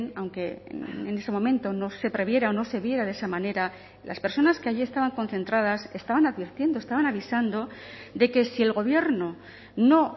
aunque en ese momento no se previera o no se viera de esa manera las personas que allí estaban concentradas estaban advirtiendo estaban avisando de que si el gobierno no